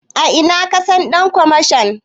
A ina ka san ɗan kwamashon?